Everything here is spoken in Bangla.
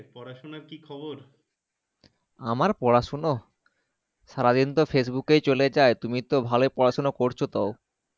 আমার পড়াশোনা সারাদিন তো Facebook এ চলেই যায় তুমি তো ভালোই পড়াশোনা করছো তো ।